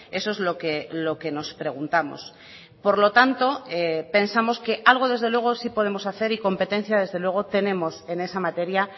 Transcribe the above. eso es lo que nos preguntamos por lo tanto pensamos que algo desde luego sí podemos hacer y competencia desde luego tenemos en esa materia